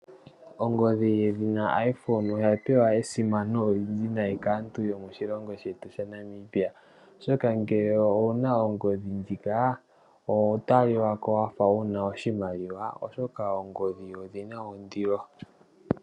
Ongodhi yedhina iPhone oya pewa esimano olyindji nayi kaantu yomoshilongo shetu shaNamibia. Oshoka ngele owuna ongodhi ndjika oho talikako wafa wuna oshimaliwa oshoka ongodhi oyina ondilo.